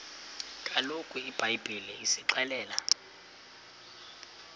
kaloku ibhayibhile isixelela